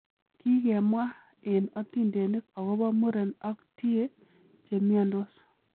Kikemwa en otindenik agobo muren ak tie chemiondos.